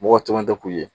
Mɔgɔ caman tɛ ku ye